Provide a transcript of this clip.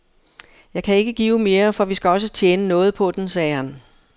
Jeg kan ikke give mere, for vi skal også tjene noget på den, sagde han.